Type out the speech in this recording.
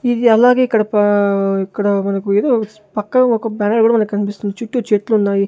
ఇది అలాగే ఇక్కడ పా ఇక్కడ మనకు ఎదో పక్కగా వొక బ్యానర్ కూడా మనకు కనిపిస్తుంది చుట్టూ చెట్లున్నాయి.